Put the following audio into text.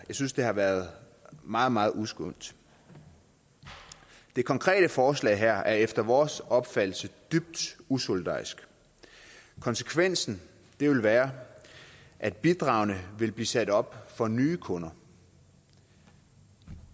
synes det har været meget meget uskønt det konkrete forslag er efter vores opfattelse dybt usolidarisk konsekvensen vil være at bidragene vil blive sat op for nye kunder